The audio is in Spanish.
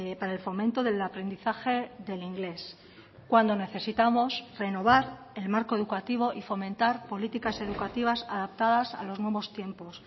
para el fomento del aprendizaje del inglés cuando necesitamos renovar el marco educativo y fomentar políticas educativas adaptadas a los nuevos tiempos